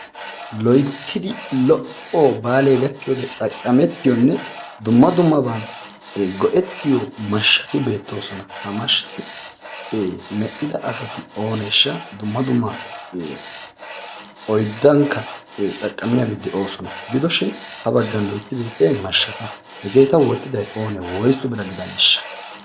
Loyittidi lo"o baalee gakkiyoode xaqqamettiyonne dumma dummabaa go"ettiyo mashshati beettoosona. Ha mashshati medhida asati ooneesha? Dumma dumma oyddankka xaqqamiyabay de"oosona. Gidoshin ha baggan loyittidi betiyay mashsha xalla. Hegeeta wottiday oonee? Woysu bira gidaneeshsha?